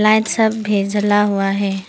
Light सब भी जला हुआ है।